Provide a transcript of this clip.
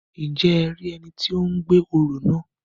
Njẹ e rí ẹni tí o gbé orò náà?